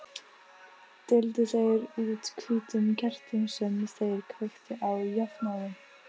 Deildu þeir út hvítum kertum sem þeir kveiktu á jafnóðum.